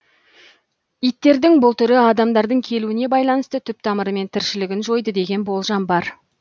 иттердің бұл түрі адамдардың келуіне байланысты түп тамырымен тіршілігін жойды деген болжам бар